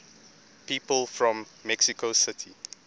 people from mexico city